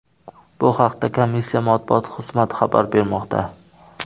Bu haqda komissiya matbuot xizmati xabar bermoqda .